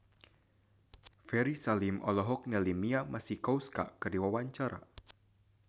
Ferry Salim olohok ningali Mia Masikowska keur diwawancara